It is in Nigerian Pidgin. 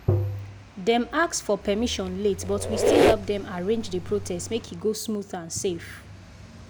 dem ask for permission late but we still help them arrange the protest make e go smooth and safe.